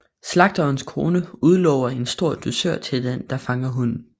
Slagterens kone udlover en stor dusør til den der fanger hunden